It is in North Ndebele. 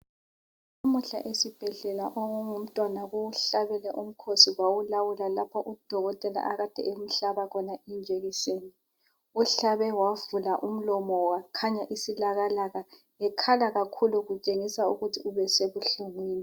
Lamuhla esibhedlela okungumntwana kuwuhlabile umkhosi kwawulawula lapha udokotela akade emhlaba khona ijekiseni. Uwuhlabe wavula umlomo wakhanya isilakalaka ekhala kakhulu kutshengisa ukuthi ubesebuhlungwini.